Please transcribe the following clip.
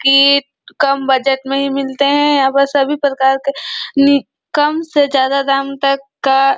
की कम बजट में भी मिलते है यहाँ पर सभी प्रकार के नी कम से ज्यादा दाम तक का --